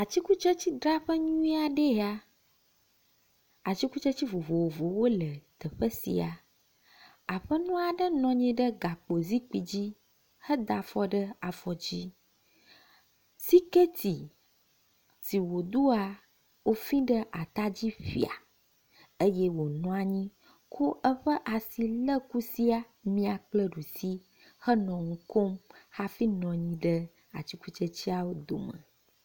Atikutsetse dzraƒe nyui aɖee nye ya. Atikutsetse vovovowo le teƒe sia. Aƒenɔ aɖe nɔ anyi ɖe gakpo zikpui dzi head afɔ ɖe afɔ dzi. Siketi si wodoa wofi ɖe atadzi ƒia eye woonɔ anyi ko eƒe asi le kusi mia kple ɛusi henɔ nu kom hafi nɔ anyi ɖe atikutsetseawo dome.